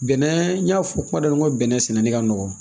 Bɛnɛ n y'a fɔ kuma daminɛ na n ko bɛnɛ sɛnɛni ka nɔgɔn